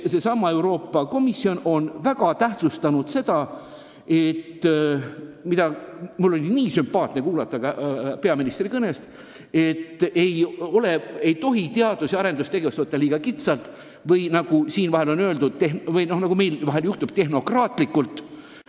Euroopa Komisjon on väga tähtsustanud seda, mida mul oli nii hea kuulda ka peaministri kõnest: teadus- ja arendustegevust ei tohiks võtta liiga kitsalt või nagu siin vahel on väljendutud, tehnokraatlikult.